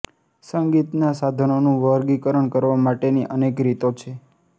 સંગીતનાં સાધનોનું વર્ગીકરણ કરવા માટેની અનેક રીતો છે